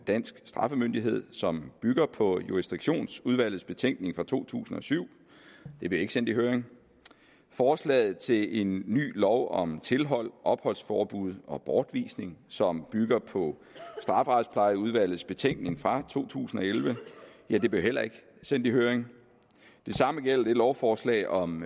dansk straffemyndighed som bygger på jurisdiktionsudvalgets betænkning fra to tusind og syv blev ikke sendt i høring forslaget til en ny lov om tilhold opholdsforbud og bortvisning som bygger på strafferetsplejeudvalgets betænkning fra to tusind og elleve blev heller ikke sendt i høring det samme gælder det lovforslag om